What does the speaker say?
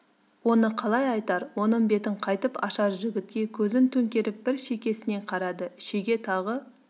оны қалай айтар оның бетін қайтіп ашар жігітке көзін төңкеріп бір шекесінен қарады шеге тағы